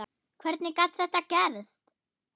Hvernig gat það gerst?